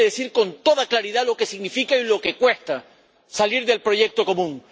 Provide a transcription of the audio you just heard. Hay que decir con toda claridad lo que significa y lo que cuesta salir del proyecto común.